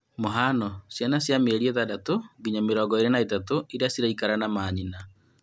Mũhano; ciana cia mĩeri ĩtandatũ nginya mĩrongo ĩĩrĩ na ĩtatũ iria ciraikara na maanyina